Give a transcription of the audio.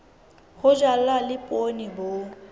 ho jalwa le poone bo